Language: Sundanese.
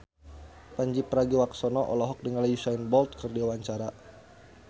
Pandji Pragiwaksono olohok ningali Usain Bolt keur diwawancara